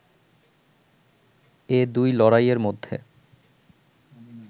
এ দুই লড়াইয়ের মধ্যে